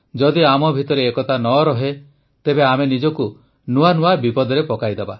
ଯଦି ଆମ ମଧ୍ୟରେ ଏକତା ନ ରହେ ତେବେ ଆମେ ନିଜକୁ ନୂଆ ନୂଆ ବିପଦରେ ପକାଇଦେବା